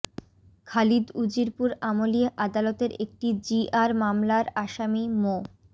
খালিদ উজিরপুর আমলী আদালতের একটি জিআর মামলার আসামি মো